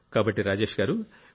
కాబట్టి రాజేష్ గారూ